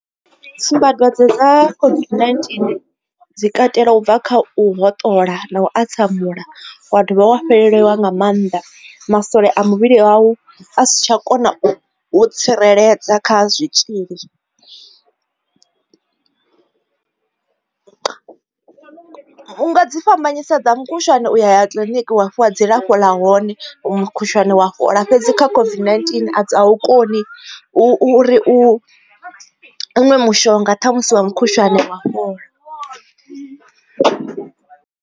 Tsumbadwadze dza COVID-19 dzi katela u bva kha u hoṱola na u a tsamula wa dovha wa fheleleliwa nga maanḓa masole a muvhili wau a si tsha kona u tsireledza kha zwitzhili, u nga dzi fhambanyisa dza mukhushwane u ya ya kiḽiniki wa fhiwa dzilafho ḽa hone mukhushwane wa fhola fhedzi kha COVID-19 a wu koni u ri u ṅwe mushonga ṱhamusi wa mukhushwane wa fhola.